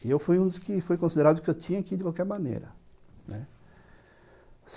E eu fui um dos que foi considerado que eu tinha que ir de qualquer maneira, né.